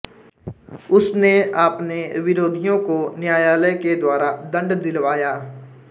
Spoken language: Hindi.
उसने आपने विरोधियों को न्यायालय के द्वारा दण्ड दिलवाया